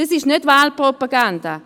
Dies ist nicht Wahlpropaganda;